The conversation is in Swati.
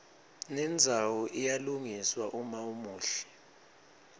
nendzawo iyalungiswa uma umuhle